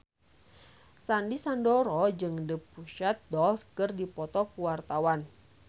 Sandy Sandoro jeung The Pussycat Dolls keur dipoto ku wartawan